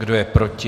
Kdo je proti?